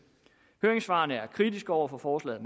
høringssvarene er meget kritiske over for forslaget